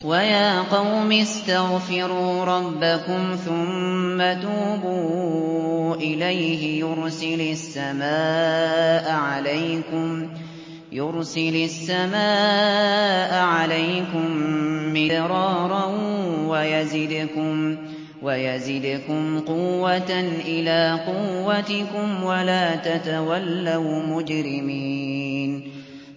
وَيَا قَوْمِ اسْتَغْفِرُوا رَبَّكُمْ ثُمَّ تُوبُوا إِلَيْهِ يُرْسِلِ السَّمَاءَ عَلَيْكُم مِّدْرَارًا وَيَزِدْكُمْ قُوَّةً إِلَىٰ قُوَّتِكُمْ وَلَا تَتَوَلَّوْا مُجْرِمِينَ